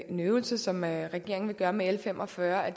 en øvelse som regeringen vil gøre med l fem og fyrre er